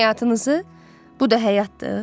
Həyatınızı bu da həyatdır.